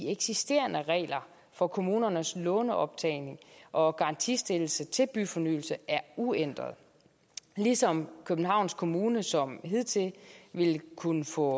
eksisterende regler for kommunernes låneoptagning og garantistillelse til byfornyelse er uændret ligesom københavns kommune som hidtil vil kunne få